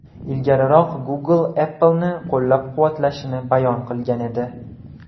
Ilgariroq Google Apple’ni qo‘llab-quvvatlashini bayon qilgan edi .